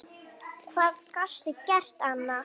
Hvað gastu gert annað?